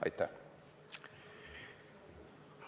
Aitäh!